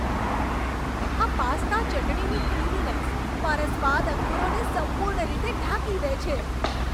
આ પાસ્તા ચટણીની ક્રીમીનેસ મારા સ્વાદ અંકુરોને સંપૂર્ણ રીતે ઢાંકી દે છે.